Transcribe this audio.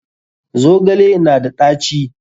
Zogale na da ɗaci?